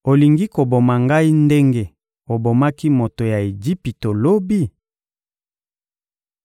Olingi koboma ngai ndenge obomaki moto ya Ejipito lobi?»